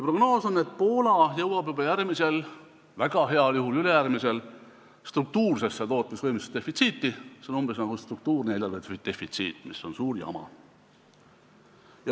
Prognoos on, et Poola jõuab juba järgmisel, väga heal juhul ülejärgmisel aastal struktuursesse tootmisvõimsuse defitsiiti, see on umbes nagu struktuurne eelarvedefitsiit, mis on suur jama.